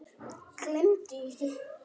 Gleymdu því ekki.